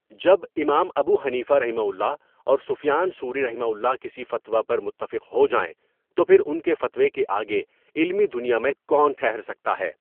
جب امام ابو حنیفہؒ اور سفیان ثوریؒ کسی فتویٰ پر متفق ہو جائیں تو پھر ان کے فتویٰ کے آگے علمی دنیا میں کو ن ٹھہر سکتا ہے.